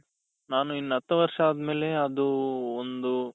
ನಾನು ಇನ್ನ ಹತ್ತು ವರ್ಷ ಆದ್ಮೇಲೆ ಅದು ಒಂದು